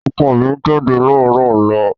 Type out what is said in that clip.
Ọkọ mi ń jáde láàárọ̀ ọ̀la.